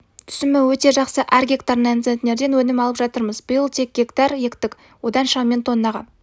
түсімі өте жақсы әр гектарынан центнерден өнім алып жатырмыз биыл тек гектар ектік одан шамамен тоннаға